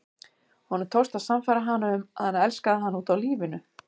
Honum tókst að sannfæra hana um að hann elskaði hana út af lífinu.